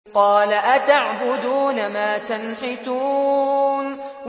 قَالَ أَتَعْبُدُونَ مَا تَنْحِتُونَ